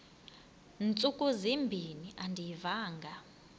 ntsuku zimbin andiyivanga